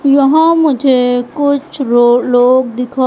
यहां मुझे कुछ लोग दिखाई--